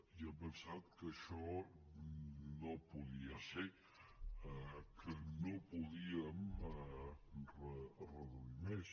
i hem pensat que això no podia ser que no podíem reduir més